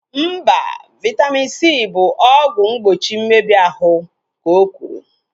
Mba, Vaitamin C bụ ọgwụ mgbochi mmebi ahụ, ka okwuru